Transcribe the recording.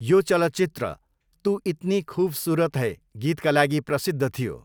यो चलचित्र 'तु इतनी खूबसूरत है' गीतका लागि प्रसिद्ध थियो।